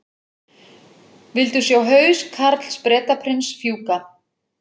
Vildu sjá haus Karls Bretaprins fjúka